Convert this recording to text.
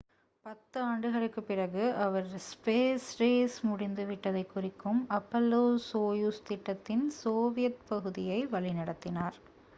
பத்து ஆண்டுகளுக்குப் பிறகு அவர் ஸ்பேஸ் ரேஸ் முடிந்துவிட்டதைக் குறிக்கும் அப்பல்லோ-சோயுஸ் திட்டத்தின் சோவியத் பகுதியை வழிநடத்தினார்